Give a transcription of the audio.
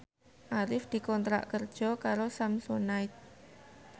Arif dikontrak kerja karo Samsonite